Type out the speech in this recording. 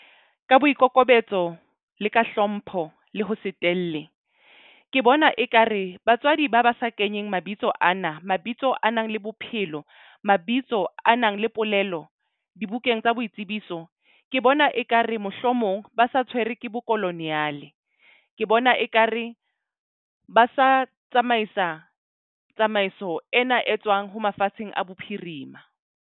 Ka boikokobetso le ka hlompho le ho se telle. Ke bona ekare batswadi ba ba sa kenyeng mabitso ana. Mabitso a nang le bophelo, mabitso a nang le polelo dibukeng tsa boitsebiso. Ke bona ekare mohlomong ba sa tshwere ke bokoloniyale. Ke bona ekare ba sa tsamaisa tsamaiso ena e tswang ho mafatsheng a bophirima.